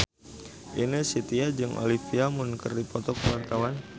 Ine Shintya jeung Olivia Munn keur dipoto ku wartawan